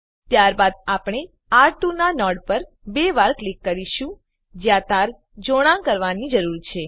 ત્યારબાદ આપણે આર2 ના નોડ પર બે વાર ક્લિક કરીશું જ્યાં તાર જોડાણ કરવાની જરૂર છે